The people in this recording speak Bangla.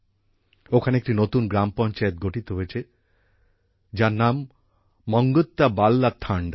এখানে একটি নতুন গ্রাম পঞ্চায়েত গঠিত হয়েছে যার নাম মঙ্গত্যা বাল্যা থান্ডা